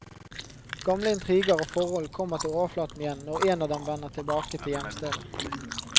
Gamle intriger og forhold kommer til overflaten igjen når en av dem vender tilbake til hjemstedet.